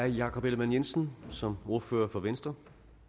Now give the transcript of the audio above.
herre jakob ellemann jensen som ordfører for venstre